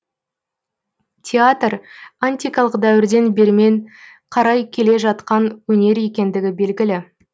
театр антикалық дәуірден бермен қарай келе жатқан өнер екендігі белгілі